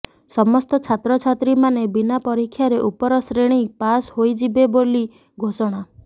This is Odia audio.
ସମସ୍ତ ଛାତ୍ରଛାତ୍ରୀମାନେ ବିନା ପରୀକ୍ଷାରେ ଉପର ଶ୍ରେଣୀ ପାସ ହୋଇଯିବେ ବୋଲି ଘୋଷଣା